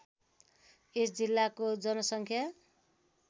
यस जिल्लाको जनसङ्ख्या